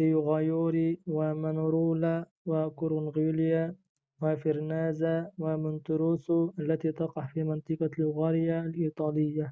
ريوماغيوري ومانارولا وكورنيغليا وفيرنازا ومونتيروسو التي تقع في منطقة ليغوريا الإيطالية